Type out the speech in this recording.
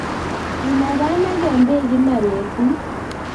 Inaganagen beek kila betut.